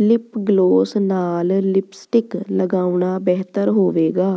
lip gloss ਨਾਲ lipstick ਲਗਾਉਣਾ ਬਿਹਤਰ ਹੋਵੇਗਾ